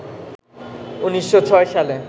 ১৯০৬ সালে